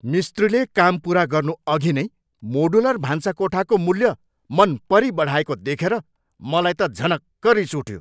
मिस्त्रीले काम पुरा गर्नुअघि नै मोडुलर भान्साकोठाको मूल्य मनपरी बढाएको देखेर मलाई त झनक्क रिस उठ्यो।